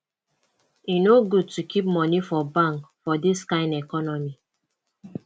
e no good to keep moni for bank for dis kain economy